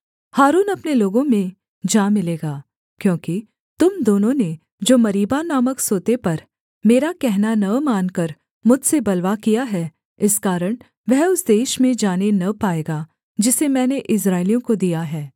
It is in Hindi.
हारून अपने लोगों में जा मिलेगा क्योंकि तुम दोनों ने जो मरीबा नामक सोते पर मेरा कहना न मानकर मुझसे बलवा किया है इस कारण वह उस देश में जाने न पाएगा जिसे मैंने इस्राएलियों को दिया है